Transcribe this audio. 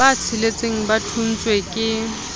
ba tsheletseng ba thontshweng ke